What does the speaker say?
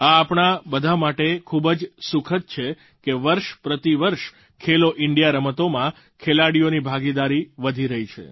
એ આપણાં બધાં માટે ખૂબ જ સુખદ છે કે વર્ષપ્રતિ વર્ષ ખેલો ઇન્ડિયા રમતોમાં ખેલાડીઓની ભાગીદારી વધી રહી છે